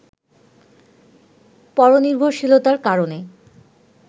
পরনির্ভশীলতার কারণে